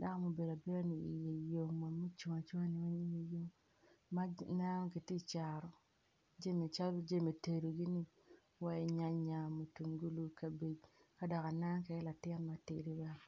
dako ma obedo abeda iye yom wa ma ocung acunga iye yom ma ineno gitye ka cato jami calo jami tedo wai nyanya mutungulu kabej kado aneno kwede latin ma tidi bene.